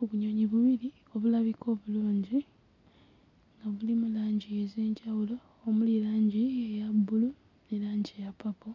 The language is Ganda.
Obunyonyi bubiri obulabika obulungi obulimu langi ez'enjawulo omuli langi eya bbulu ne langi eya ppapo